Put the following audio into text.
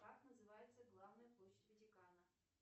как называется главная площадь ватикана